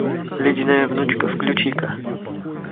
ледяная внучка включи ка